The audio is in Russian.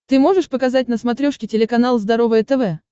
ты можешь показать на смотрешке телеканал здоровое тв